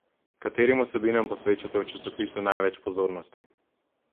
Katerim vsebinam posvečate v časopisu največ pozornosti?